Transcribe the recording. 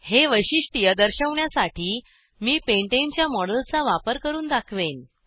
हे वैशिष्ट्य दर्शवण्यासाठी मी pentaneपॅन्टेन च्या मॉडेलचा वापर करून दाखवेन